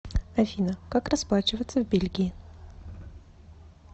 афина как расплачиваться в бельгии